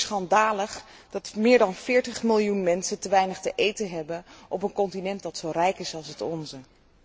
Het is natuurlijk schandalig dat meer dan 40 miljoen mensen te weinig te eten hebben op een continent dat zo rijk is als het onze.